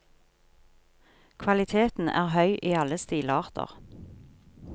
Kvaliteten er høy i alle stilarter.